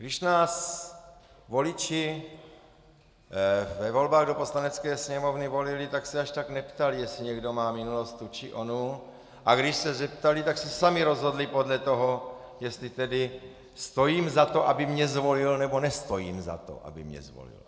Když nás voliči ve volbách do Poslanecké sněmovny volili, tak se až tak neptali, jestli někdo má minulost tu či onu, a když se zeptali, tak se sami rozhodli podle toho, jestli tedy stojím za to, aby mě zvolil, nebo nestojím za to, aby mě zvolil.